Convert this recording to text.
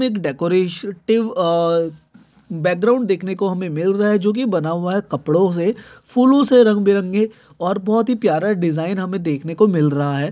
एक decorative uh background देखने को हमें मिल रहा है जोकि बना हुआ है कपड़ों से फूलों से रंग बिरंगै और बहुत ही प्यारा डिजाइन हमे देखने को मिल रहा है।